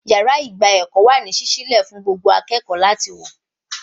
Yàrá ìgba ẹ̀kọ́ wà ní sísí lẹ̀ fún gbogbo akẹ́kọ̀ọ́ láti wá